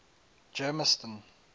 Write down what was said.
germiston